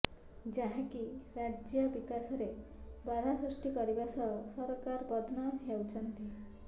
ଯାହାକି ରାଜ୍ୟ ବିକାଶରେ ବାଧା ସୃଷ୍ଟି କରିବା ସହ ସରକାର ବଦନାମ ହେଉଛନ୍ତି